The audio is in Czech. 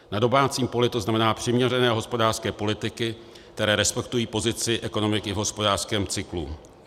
Na domácím poli to znamená přiměřené hospodářské politiky, které respektují pozici ekonomiky v hospodářském cyklu.